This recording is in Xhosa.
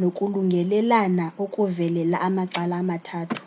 nokulungelelana okuvelela amacala amathathu